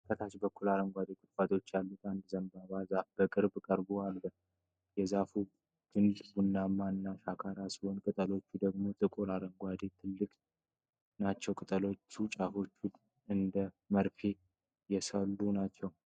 ከታች በኩል አረንጓዴ ቁጥቋጦዎች ያሉት አንድ የዘንባባ ዛፍ ከቅርብ ቀርቦ አለ። የዛፉ ግንድ ቡናማ እና ሻካራ ሲሆን፣ ቅጠሎቹ ደግሞ ጥቁር አረንጓዴና ትልቅ ናቸው። የቅጠሎቹ ጫፎች እንደ መርፌ የሰሉ ናቸው፡፡